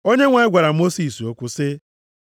Onyenwe anyị gwara Mosis okwu sị,